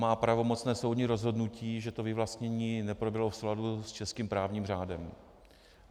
Má pravomocné soudní rozhodnutí, že to vyvlastnění neproběhlo v souladu s českým právním řádem.